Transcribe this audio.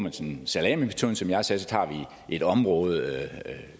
salamimetoden som jeg sagde så tager vi et område